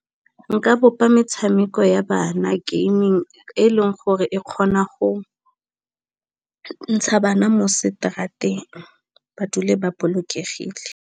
Nka bopa metshameko ya bana gaming e leng gore e kgona go ntsha bana mo seterateng ba dule ba bolokegile.